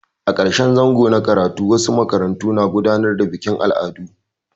A ƙarshen zango na karatu wasu makarantu na gudanar da bikin al'adu.